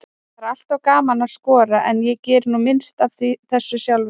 Það er alltaf gaman að skora, en ég geri nú minnst af þessu sjálfur.